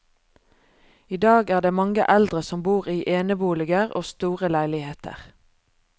I dag er det mange eldre som bor i eneboliger og store leiligheter.